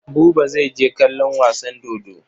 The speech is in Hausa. Buba zai je kallon wasan dodo.